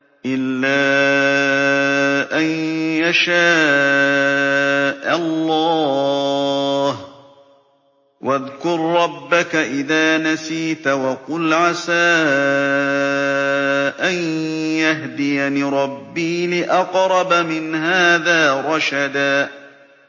إِلَّا أَن يَشَاءَ اللَّهُ ۚ وَاذْكُر رَّبَّكَ إِذَا نَسِيتَ وَقُلْ عَسَىٰ أَن يَهْدِيَنِ رَبِّي لِأَقْرَبَ مِنْ هَٰذَا رَشَدًا